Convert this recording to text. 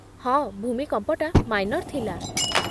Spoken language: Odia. ହଁ, ଭୂମିକମ୍ପଟା ମାଇନର୍ ଥିଲା ।